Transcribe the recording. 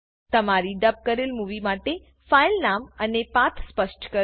તમારી ડબ કરેલ મુવી માટે ફાઈલ નામ અને પાથ સ્પષ્ટ કરો